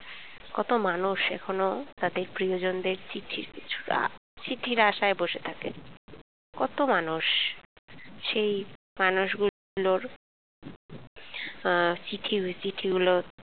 কত মাস এখনো তাদের প্রিয়জনদের চিঠির পিছুরা চিঠির আশায় বসে থাকে কত মানুষ সেই মানুষগুলোর আহ চিঠি ব চিঠি গুলো